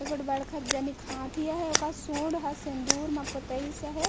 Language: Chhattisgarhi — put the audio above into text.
ए गोट बड़कड जनक हाथी हे ओकर सूंड ह सिन्दूर मा पोताइस हे।